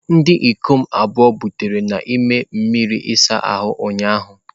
Ndị ikom abụọ butere n'ime mmiri ịsa ahụ ụnyahụ.